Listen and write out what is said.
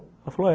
Ela falou, é.